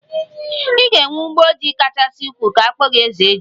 Ị ga-enwe ugbo ji kachasị ukwuu ka akpọ gi 'ezeji'